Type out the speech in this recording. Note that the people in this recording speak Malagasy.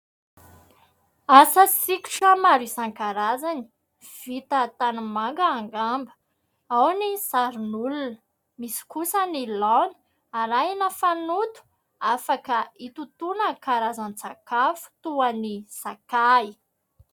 Asa sikotra maro isan-karazany vita tanimanga angamba ; ao ny sarin'olona. Misy kosa ny laona arahina fanoto afaka hitotona karazan-tsakafo toy ny sakafo.